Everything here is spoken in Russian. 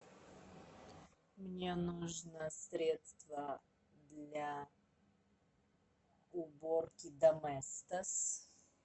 мне нужно средство для уборки доместос